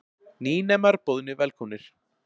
Nýnemar boðnir velkomnir